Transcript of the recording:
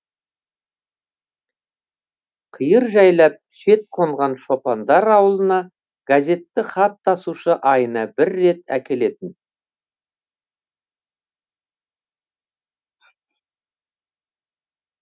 қиыр жайлап шет қонған шопандар ауылына газетті хат тасушы айына бір рет әкелетін